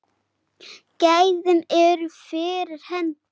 Gæðin eru fyrir hendi.